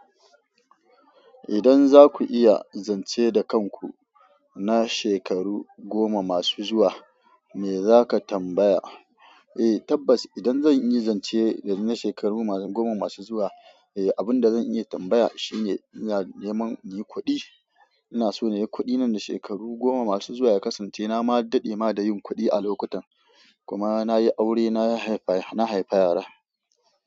Idan za ku iya zance da kanku na shekaru goma masu zuwa, me za ka tambaya? Tabbas idan zan iya zance da ni na shekaru goma masu zuwa, abin da zan iya tambaya shine, ina neman inyi kuɗi. Ina so nayi kuɗi nan da shekaru goma masu zuwa ya kasance na ma daɗe ma da yin kuɗi a lokutan. Kuma na yi aure, na haifa yara.